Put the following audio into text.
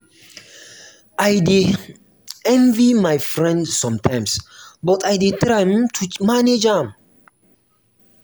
i dey um envy my friend sometimes but i dey try um to manage am.